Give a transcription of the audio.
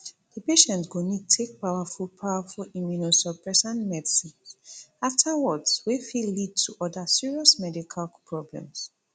di patient go need take powerful powerful immunosuppressant medicines afterwards wey fit lead to oda serious medical problems